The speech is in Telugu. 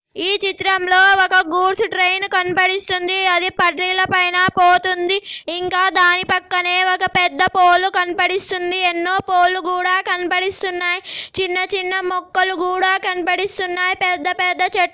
చిత్రంలో ఒక గూడ్స్ ట్రైన్ కనపడిస్తుంది అది పట్ట్రిల పైన పోతుంది ఇంకా దాని పక్కనే ఒక పెద్ద పోల్ కనపడిస్తుంది ఎన్నో పోలు కూడా కనబడిస్తున్నాయి చిన్నచిన్న మొక్కలు కూడా కనబడిస్తున్నాయి పెద్దపెద్ద చెట్లు--